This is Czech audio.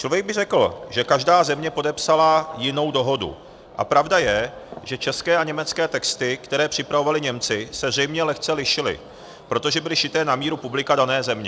Člověk by řekl, že každá země podepsala jinou dohodu, a pravda je, že české a německé texty, které připravovali Němci, se zřejmě lehce lišily, protože byly šité na míru publika dané země.